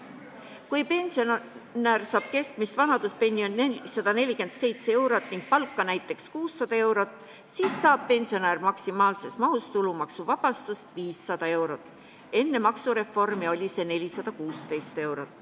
Kui pensionär saab keskmist vanaduspensioni 447 eurot ning palka näiteks 600 eurot, siis saab ta maksimaalses mahus tulumaksuvabastust, 500 eurot, enne maksureformi oli see 416 eurot.